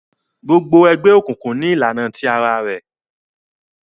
Gbogbo egbeokunkun ní ìlànà tí àrà rẹ